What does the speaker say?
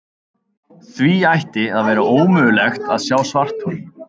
Því ætti að vera ómögulegt að sjá svarthol.